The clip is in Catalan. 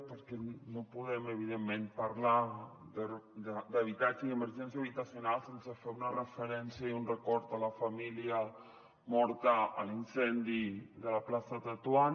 perquè no podem evidentment parlar d’habitatge i emergència habitacional sense fer una referència i un record a la família morta a l’incendi de la plaça tetuan